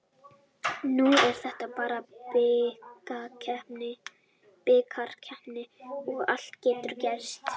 Nú er þetta bara bikarkeppni og allt getur gerst.